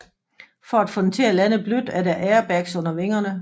For at få den til at lande blødt er der airbags under vingerne